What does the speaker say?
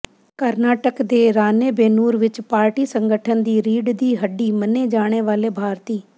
ਕਰਨਾਟਕ ਦੇ ਰਾਨੇਬੇਨੁਰ ਵਿੱਚ ਪਾਰਟੀ ਸੰਗਠਨ ਦੀ ਰੀੜ ਦੀ ਹੱੱਡੀ ਮੰਨੇ ਜਾਣ ਵਾਲੇ ਭਾਰਤੀ